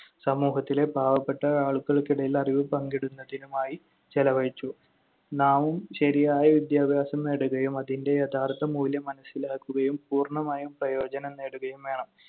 സമൂഹത്തിലെ പാവപ്പെട്ട ആളുകൾക്കിടയിൽ അറിവ് പങ്കിടുന്നതിനുമായി ചെലവഴിച്ചു. നാമും ശരിയായ വിദ്യാഭ്യാസം നേടുകയും അതിന്‍റെ യഥാർത്ഥ മൂല്യം മനസ്സിലാക്കുകയും പൂർണ്ണമായും പ്രയോജനം നേടുകയും വേണം.